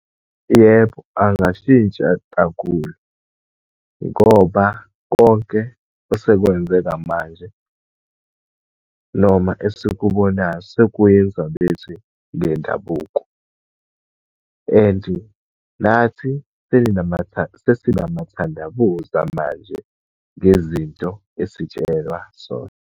Yebo, angashintsha kakhulu. Ngoba konke osekwenzeka manje, noma esikubonayo sekuyinzwa bethi ngendabuko and nathi sesinamathandabuza manje ngezinto esitshelwa zona.